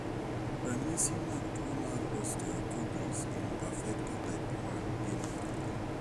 Ranyisi mag tuwo mar OsteoKodhiis imperfecta type I gin mage?